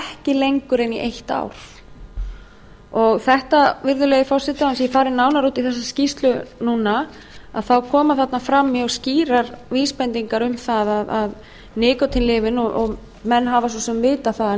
lengur en í eitt ár þetta virðulegi forseti án þess að ég fari nánar út í þessa skýrslu núna þá koma þarna fram mjög skýrar vísbendingar um nikótínlyfin og menn hafa svo sem vitað það að